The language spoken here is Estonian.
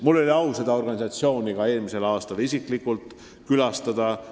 Mul oli au seda asutust eelmisel aastal ka isiklikult külastada.